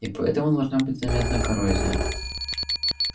и поэтому должна быть заметная коррозия